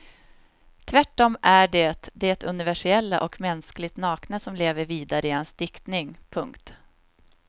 Tvärtom är det det universella och mänskligt nakna som lever vidare i hans diktning. punkt